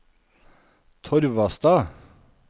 Torvastad